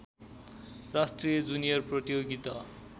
राष्ट्रिय जुनियर प्रतियोगिता